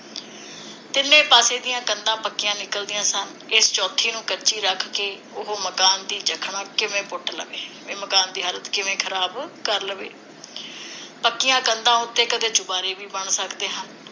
ਤਿੰਨੇ ਪਾਸਿਆਂ ਦੀਆਂ ਕੰਧਾਂ ਪੱਕੀਆਂ ਨਿਕਲਦੀਆਂ ਸਨ। ਇਸ ਚੌਥੀ ਨੂੰ ਕੱਚੀ ਰੱਖ ਕੇ ਉਹ ਮਕਾਨ ਦੀ ਜੱਖਣਾ ਕਿਵੇਂ ਪੁੱਟ ਲਵੇ? ਬਈ ਮਕਾਨ ਦੀ ਹਾਲਤ ਕਿਵੇਂ ਖਰਾਬ ਕਰ ਲਵੇ? ਪੱਕੀਆਂ ਕੰਧਾਂ ਉਤੇ ਕਦੇ ਚੁਬਾਰੇ ਵੀ ਬਣ ਸਕਦੇ ਹਨ।